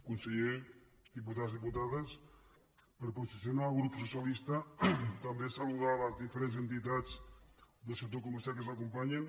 conseller diputats diputades per posicionar el grup socialista també saludar les diferents entitats del sector comercial que ens acompanyen